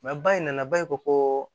ba in nana ba ko koo